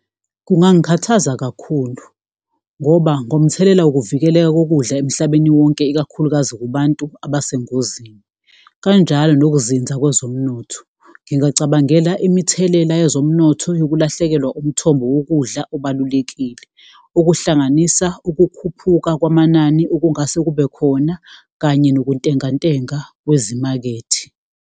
Kungangikhathaza kakhulu ngoba ngomthelela wokuvikeleka kokudla emhlabeni wonke ikakhulukazi kubantu abesengozini, kanjalo nokuzinza kwezomnotho, ngingacabangela imithelela yezomnotho yokulahlekelwa umthombo wokudla obalulekile. Okuhlanganisa ukukhuphuka kwamanani okungase kube khona kanye nokuntengantenga kwezimakethe.